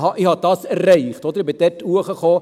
«Aha, das habe ich erreicht, so hoch kam ich.»